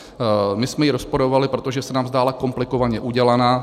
My jsme ji rozporovali, protože se nám zdála komplikovaně udělaná.